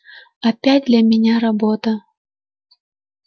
опять для меня работа